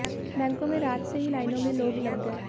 बैंकों में रात से ही लाइनों में लोग लग गए